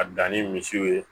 A dan ni misiw ye